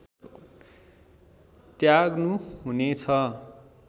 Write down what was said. त्याग्नु हुने छ